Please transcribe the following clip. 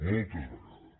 moltes vegades